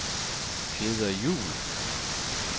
Peder Juhl